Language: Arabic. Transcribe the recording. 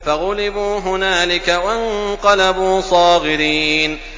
فَغُلِبُوا هُنَالِكَ وَانقَلَبُوا صَاغِرِينَ